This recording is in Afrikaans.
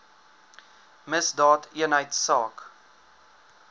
misdaadeenheidsaak